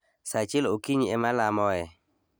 Sa achiel okinyi e ma alamoe